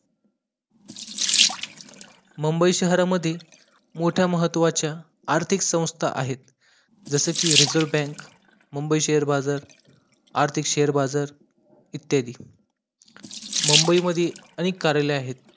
मुंबई शहरामध्ये मोठ्या महत्वाच्या आर्थिक संस्था आहेत जसेकी रिजर्व बँक मुंबई शेयर बाजार, आर्थिक शेयर बाजार इत्यादी मुंबई मध्ये अनेक कार्यालय आहेत